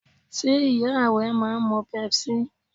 Ṣé ìyá rẹ máa ń mu Pepsi?